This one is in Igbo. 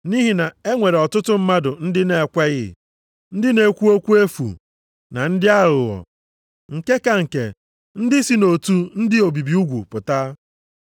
Nʼihi na e nwere ọtụtụ mmadụ ndị na-ekweghị, ndị na-ekwu okwu efu, na ndị aghụghọ, nke ka nke, ndị si nʼotu ndị obibi ugwu pụta.